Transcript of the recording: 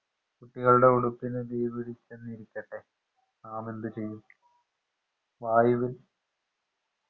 കുട്ടികളുടെ ഉടുപ്പിന് തീ പിടിച്ചെന്നിരിക്കട്ടെ നാമെന്ത് ചെയ്യും വായുവിൽ